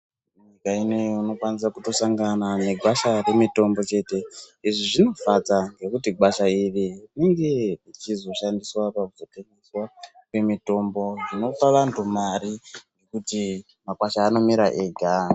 Munyika inoyi unokwanisa kutosangana negwasha remitombo chete, izvi zvinofadza ngekuti gwasha iri ringe rechizoshandiswa pakuzotengeswa kwemitombo dzinopa vantu mari kuti makwasha anomira ega.